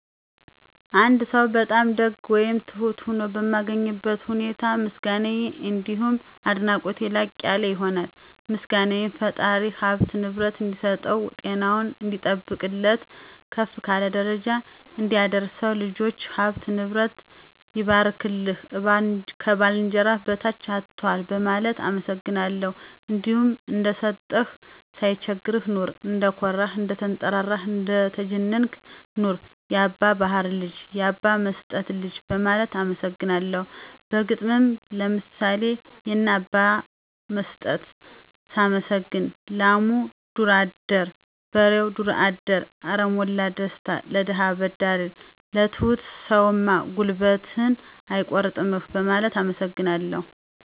አንድ ሰው በጣም ደግ ወይም ትሁት ሆኖ በማገኝበት ሁኔታ ምስጋናየ አንዲሁም አድናቆቴ ላቅ ያለ ይሆናል። ምስጋናየም ፈጣሪ ሀብትና ንብረት እንዲሰጠው፣ ጤናውን እንዲጠብቅለት፣ ከፍ ካለ ደረጃ እንዲያደርሰው፣ ልጆቹ፥ ሀብትና ንብረቱ ይባርክልህ፣ ከባልንጀራህ በታች አትዋል በማለት አመሰግናለሁ። እንዲሁም እንደሰጠህ ሳይቸግርህ ኑር፣ እንደኮራህ፥ እንደተንጠራራህ እንደተጀነንክ ኑር፣ ያባ ባሀር ልጅ፥ ያባ መስጠት ልጅ በማለት አመሰግነዋለሁ። በግጥምም ለምሳሌ የነ አባ መስጠትን ሳመሰግን፦ ላሙ ዱር አዳሪ በሬው ዱር አዳሪ አረ ሞላ ደስታ ለደሀ አበዳሪ። ለትሁት ሰውም ጉልበትህን አይቆርጥምህ በማለት አመሰግነዋለሁ።